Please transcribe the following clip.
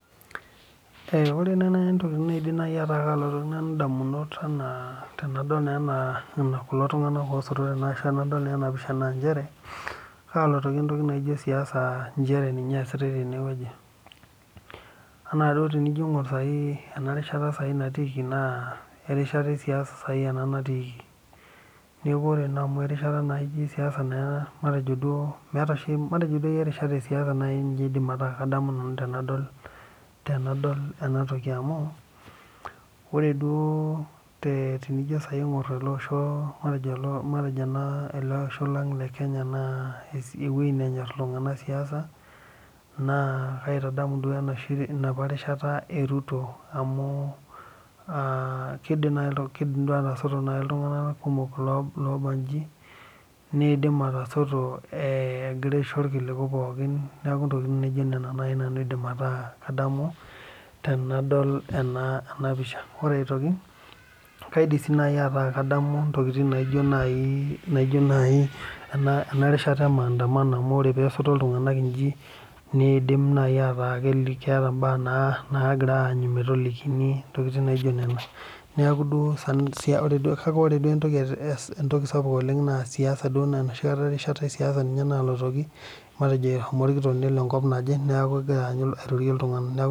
Ore naaji nanu entoki naidim ataa kalotu edamunot enaa tenadol kulo tung'ana osoto ashu tenadol ena pisha naa kalotoki entoki naijio siasa njere ninye esitai tenewueji naa tenijoo aing'or ena rishata natikii na erishat esiasa ena natikii neeku ore naa amu erishata esiasa matejo duo meeta matejo duake erishat esiasa aidim ataa kadamu nanu tenadol enatoki amu ore duo tenijo duo aing'or ele Osho lang lee Kenya ewueji nenyor iltung'ana siasa naa kaitadamu enapa rishata ee Ruto amu kidim atasoto iltung'ana kumok obaji nidim atasoto egira aishoo irkiliku pookin neeku Nena tokitin naaji nanu aidim ataa kadamu tenadol ena pisha ore aitoki kaidim sii naaji ataa kadamu enarishata emandamano amu ore tenesoto iltung'ana iji nidim ataa ketaa mbaa nagira anyu metolikink entokitin naijio Nena neeku duo kake ore duo entoki sapuk oleng naa enoshi rishata ee siasa nalotoki matejo ehomo orkitok enkop naaje neeku egira aitotie iltung'ana